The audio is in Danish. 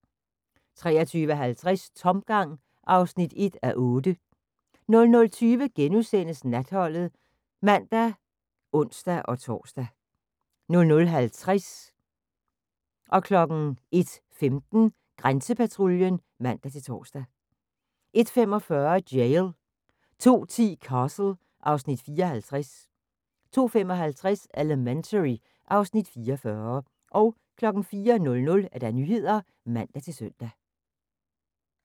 23:50: Tomgang (1:8) 00:20: Natholdet *(man og ons-tor) 00:50: Grænsepatruljen (man-tor) 01:15: Grænsepatruljen 01:45: Jail 02:10: Castle (Afs. 54) 02:55: Elementary (Afs. 44) 04:00: Nyhederne (man-søn)